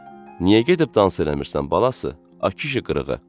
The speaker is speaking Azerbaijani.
Niyə gedib dans eləmirsən balası, a kişi qırığı?